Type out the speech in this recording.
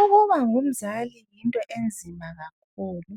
Ukuba ngumzali yinto enzima kakhulu.